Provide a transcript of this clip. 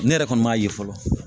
Ne yɛrɛ kɔni m'a ye fɔlɔ